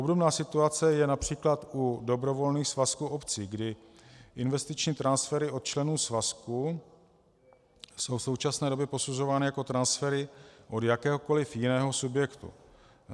Obdobná situace je například u dobrovolných svazků obcí, kdy investiční transfery od členů svazků jsou v současné době posuzovány jako transfery od jakéhokoliv jiného subjektu.